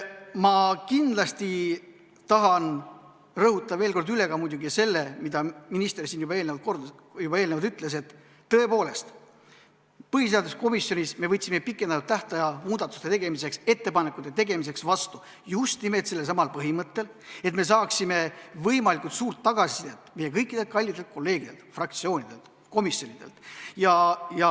Ma kindlasti tahan rõhutada veel kord ka muidugi seda, mida minister siin juba eelnevalt ütles, et tõepoolest, põhiseaduskomisjonis me andsime pikendatud tähtaja muudatusettepanekute tegemiseks just nimelt sellelsamal põhimõttel, et me saaksime võimalikult palju tagasisidet meie kõikidelt kallitelt kolleegidelt, fraktsioonidelt, komisjonidelt.